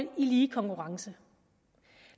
og i lige konkurrence